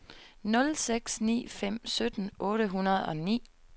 nul seks ni fem sytten otte hundrede og ni